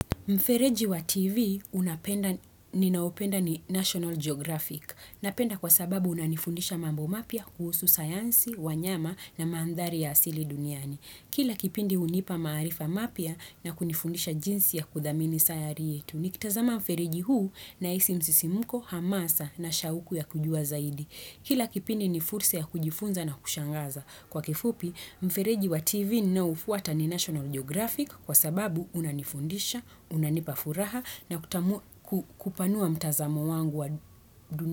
Mfereji wa TV ninaupenda ni National Geographic, napenda kwa sababu unanifundisha mambo mapya kuhusu sayansi, wanyama na mandhari ya asili duniani. Kila kipindi hunipa maarifa mapya na kunifundisha jinsi ya kudhamini sayari yetu, nikitazama mfereji huu nahisi msisimko, hamasa na shauku ya kujua zaidi. Kila kipini ni fursa ya kujifunza na kushangaza. Kwa kifupi, mfereji wa TV ninaoufuata ni National Geographic kwa sababu unanifundisha, unanipafuraha na kupanua mtazamo wangu wa.